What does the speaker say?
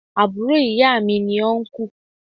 Àbúro ìya mi ni Ọnkú